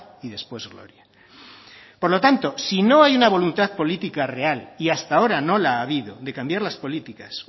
y después gloria por lo tanto si no hay una voluntad política real y hasta ahora no la ha habido de cambiar las políticas